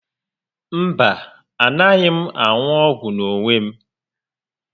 Mba, a naghị m aṅu ọgwụ n'onwe m